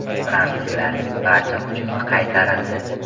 Fransuzlarning barcha hujumi qaytarildi.